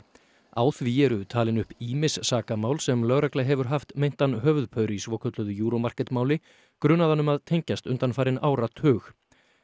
á því eru talin upp ýmis sakamál sem lögregla hefur haft meintan höfuðpaur í svokölluðu Euro Market máli grunaðan um að tengjast undanfarinn áratug